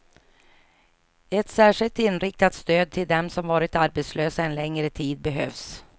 Ett särskilt inriktat stöd till dem som varit arbetslösa en längre tid behövs.